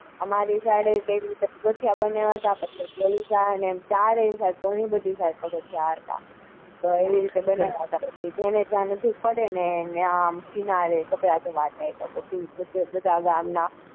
અમારે એ side કિનારે કપડા ધોવા જાય.